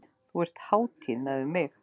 Þú ert hátíð miðað við mig.